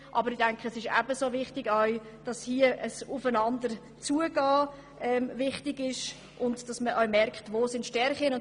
Ebenso wichtig ist, dass man hier aufeinander zugeht und dass man auch merkt, wo die Stärken sind.